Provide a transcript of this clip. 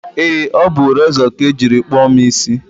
ee, ọ bụ rezọ ka e jiri kpụọ mụ isi